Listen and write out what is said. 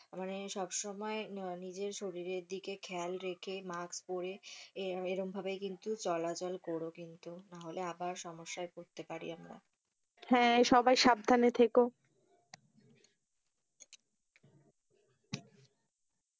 সব সময় নিজের শরীরের দিকে খেয়াল রেখে মাস্ক পরে এরম ভাবে কিন্তু চলাচল করো কিন্তু নাহলে আবার সমস্যায়,